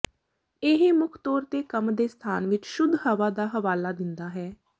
ਇਹ ਮੁੱਖ ਤੌਰ ਤੇ ਕੰਮ ਦੇ ਸਥਾਨ ਵਿਚ ਸ਼ੁੱਧ ਹਵਾ ਦਾ ਹਵਾਲਾ ਦਿੰਦਾ ਹੈ